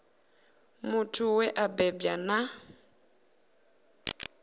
muthu we a bebwa na